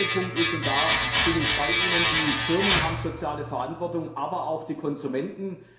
Der zweite Punkt ist und da bin ich Ihrer Meinung Die Firmen haben soziale Verantwortung, aber auch die Konsumenten.